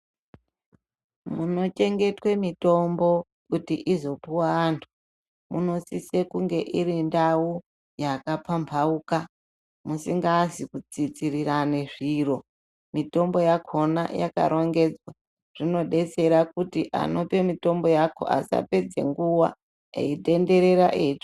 Munochengetwe mitombo, kuti izopiwa antu, munosise irindau yakapamhauka musikazi kutsitsirane zviro, mitombo yakhona yakarongedzwa. Zvinodetsera kuti anope mitombo yacho asapedze nguwa eitenderera eitsvaka.